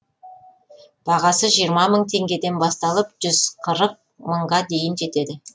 бағасы жиырма мың теңгеден басталып жүз қырық мыңға дейін жетеді